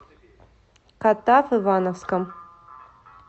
катав ивановском